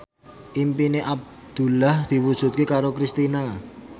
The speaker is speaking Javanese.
impine Abdullah diwujudke karo Kristina